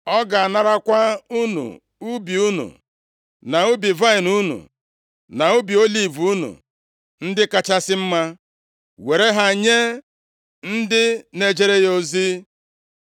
Ọ ga-anarakwa unu ubi unu, na ubi vaịnị unu, na ubi oliv unu ndị kachasị mma, were ha nye ndị na-ejere ya ozi.